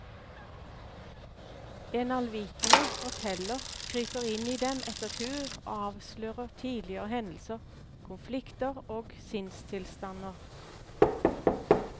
En allvitende forteller kryper inn i dem etter tur og avslører tidligere hendelser, konflikter og sinnstilstander.